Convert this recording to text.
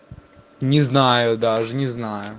не знаю даже не знаю